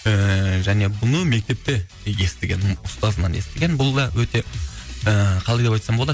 ііі және бұны мектепте естіген ұстазынан естіген бұл да өте ііі қалай деп айтсам болады